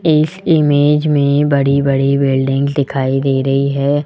इस इमेज में बड़ी-बड़ी बिल्डिंग दिखाई दे रही है।